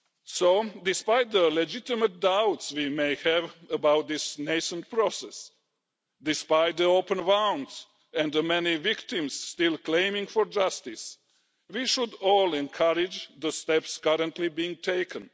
So, despite the legitimate doubts that we may have about this nascent process, despite the open wounds and the many victims still seeking justice, we should all encourage the steps currently being taken.